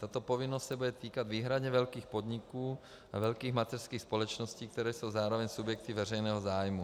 Tato povinnost se bude týkat výhradně velkých podniků a velkých mateřských společností, které jsou zároveň subjekty veřejného zájmu.